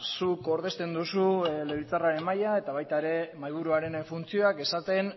zuk ordezten duzu legebiltzarraren mahaia eta baita ere mahaiburuaren funtzioak esaten